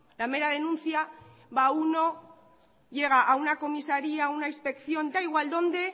la mera denuncia va uno llega a una comisaría una inspección da igual dónde